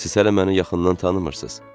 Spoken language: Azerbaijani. Siz hələ məni yaxından tanımırsız.